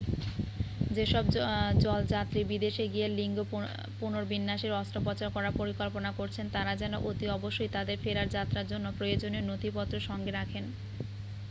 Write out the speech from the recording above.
যেসব জলযাত্রী বিদেশে গিয়ে লিঙ্গ পুনর্বিন্যাসের অস্ত্রোপচার করার পরিকল্পনা করছেন তাঁরা যেন অতি অবশ্যই তাঁদের ফেরার যাত্রার জন্য প্রয়োজনীয় নথিপত্র সঙ্গে রাখেন